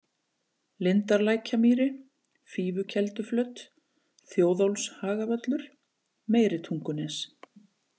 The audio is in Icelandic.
Lindarlækjamýri, Fífukelduflöt, Þjóðólfshagavöllur, Meiritungunes